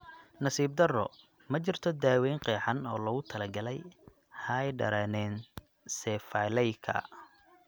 Nasiib darro, ma jirto daaweyn qeexan oo loogu talagalay hydranencephalyka.